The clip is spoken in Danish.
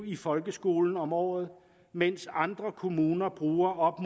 i folkeskolen om året mens andre kommuner bruger op